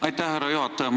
Aitäh, härra juhataja!